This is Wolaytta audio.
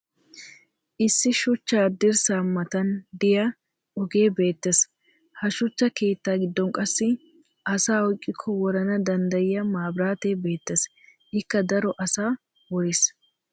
issi shuchcha dirsaa matan diya ogee beetees. ha shuchcha keeta giddon qassi asaa oyqqikko worana danddayiya mabiraatee beetees. ikka daro asaa woriis.